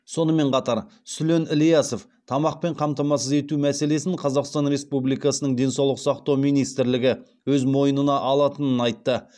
сонымен қатар сүлен ілясов тамақпен қамтамасыз ету мәселесін қазақстан республикасының денсаулық сақтау министрлігі өз мойнына алатынын айтты